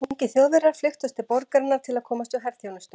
Ungir Þjóðverjar flykktust til borgarinnar til að komast hjá herþjónustu.